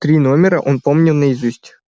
три номера он помнил наизусть